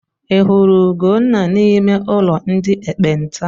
Ị hụrụ Ugonna n'ime ụlọ ndị ekpenta?